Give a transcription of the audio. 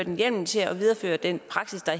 en hjemmel til at videreføre den praksis der